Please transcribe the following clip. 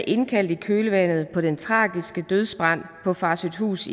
indkaldt i kølvandet på den tragiske dødsbrand på farsøhthus